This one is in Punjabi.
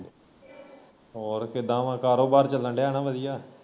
ਹੋਰ ਕਿੱਦਾਂ ਵਾ ਕਾਰੋਬਾਰ ਚੱਲਣ ਦਿਆ ਨਾ ਵਧੀਆ?